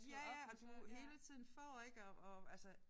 Ja ja og du hele tiden får ik og og altså